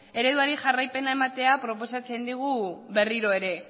ereduari jarraipena ematea proposatzen digu berriro ere